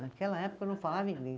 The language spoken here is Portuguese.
Naquela época eu não falava inglês.